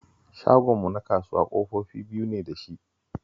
Shagonmu na kasuwa ƙofofi biyu ne da shi